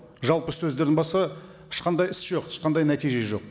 жалпы сөздерден басқа ешқандай іс жоқ ешқандай нәтиже жоқ